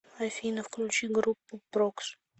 афина включи группу прокс